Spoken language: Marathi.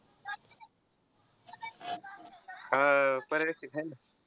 अं पर्यवेक्षक आहे ना.